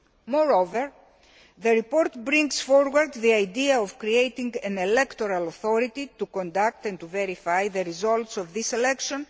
Moreover, the report brings forward the idea of creating an electoral authority to conduct and to verify the results of this election.